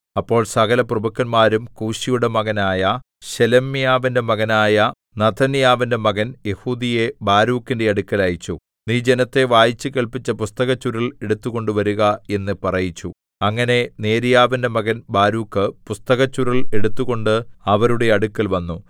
അപ്പോൾ സകലപ്രഭുക്കന്മാരും കൂശിയുടെ മകനായ ശെലെമ്യാവിന്റെ മകനായ നഥന്യാവിന്റെ മകൻ യെഹൂദിയെ ബാരൂക്കിന്റെ അടുക്കൽ അയച്ചു നീ ജനത്തെ വായിച്ചുകേൾപ്പിച്ച പുസ്തകച്ചുരുൾ എടുത്തുകൊണ്ട് വരുക എന്നു പറയിച്ചു അങ്ങനെ നേര്യാവിന്റെ മകൻ ബാരൂക്ക് പുസ്തകച്ചുരുൾ എടുത്തുകൊണ്ട് അവരുടെ അടുക്കൽ വന്നു